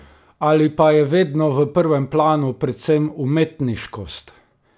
Ali pa je vedno v prvem planu predvsem umetniškost?